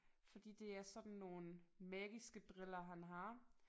Fordi det er sådan nogle magiske briller han har